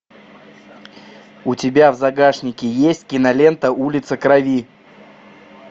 у тебя в загашнике есть кинолента улица крови